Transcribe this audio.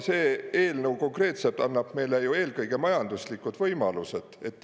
See eelnõu konkreetselt annab meile ju eelkõige majanduslikud võimalused.